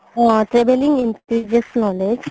O traveling increases knowledge